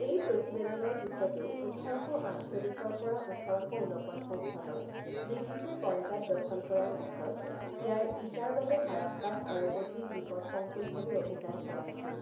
এই প্ৰতিবেদনৰ পিছতো ওঠৰ শ আঠচল্লিছৰ পৰা ওঠৰ শ ঊনপঞ্চাছ চনত ব্ৰিটিছে পঞ্জাব দখল কৰাৰ পিছত ইয়াৰ ইটাৰ বাবে হাৰাপ্পাত আৰু অধিক বিপদসংকুলভাৱে অভিযান চলাইছিল।